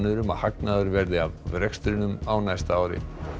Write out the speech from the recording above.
um að hagnaður verði af rekstrinum á næsta ári